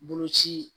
Boloci